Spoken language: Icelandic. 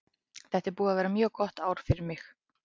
Þetta er búið að vera mjög gott ár fyrir mig.